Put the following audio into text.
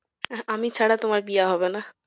আমি ছাড়া তোমার বিয়ে হবে না